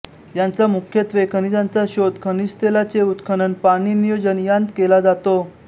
याचा मुख्यत्वे खनिजांचा शोध खनिजतेलाचे उत्खनन पाणी नियोजन यांत केला जातो